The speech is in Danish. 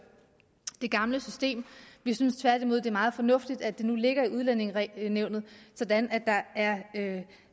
det gamle system vi synes tværtimod det er meget fornuftigt at det nu ligger i udlændingenævnet sådan at der er